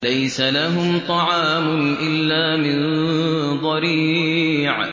لَّيْسَ لَهُمْ طَعَامٌ إِلَّا مِن ضَرِيعٍ